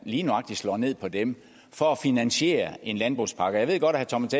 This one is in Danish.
lige nøjagtig slår ned på dem for at finansiere en landbrugspakke og jeg ved godt at thomas